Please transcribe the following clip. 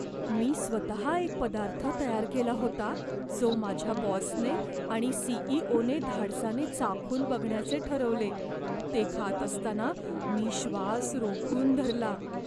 मी स्वतः एक पदार्थ तयार केला होता जो माझ्या बॉसने आणि सीईओने धाडसाने चाखून बघण्याचे ठरवले. ते खात असताना मी श्वास रोखून धरला.